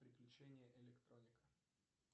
приключения электроника